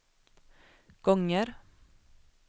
gånger